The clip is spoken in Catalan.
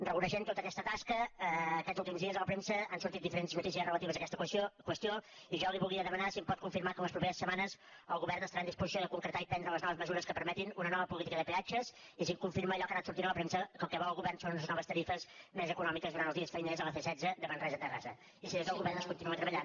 reconeixent tota aquesta tasca aquests últims dies a la premsa han sortit diferents notícies relatives a aquesta qüestió i jo li volia demanar si em pot confirmar que les properes setmanes el govern estarà en disposició de concretar i prendre les noves mesures que permetin una nova política de peatges i si em confirma allò que ha anat sortint a la premsa que el que vol el govern són unes noves tarifes més econòmiques durant els di·es feiners a la c·setze de manresa a terrassa i si des del govern es continua treballant